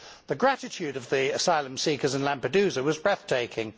The gratitude of the asylum seekers in Lampedusa was breathtaking.